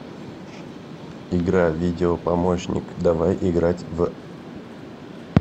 игра видео помощник давай играть в